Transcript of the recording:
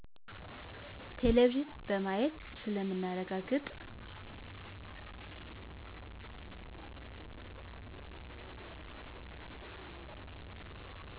ቴሌቪዝን በማየት ስለምናረጋግጥ